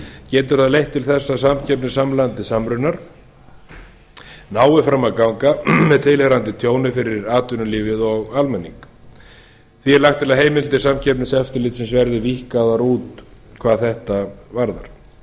getur það leitt til eins að samkeppni samruna nái fram að ganga með tilheyrandi tjóni fyrir atvinnulífið og almenning því er lagt til að heimildir samkeppniseftirlitsins verði víkkaðar út hvað þetta varðar